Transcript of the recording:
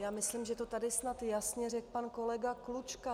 Já myslím, že to tady snad jasně řekl pan kolega Klučka.